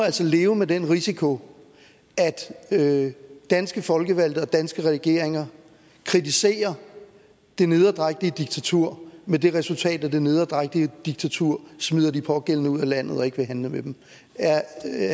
leve med den risiko at danske folkevalgte og danske regeringer kritiserer det nederdrægtige diktatur med det resultat at det nederdrægtige diktatur smider de pågældende ud af landet og ikke vil handle med dem er